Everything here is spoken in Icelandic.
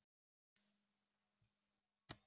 Þær bjuggu í París í mörg ár.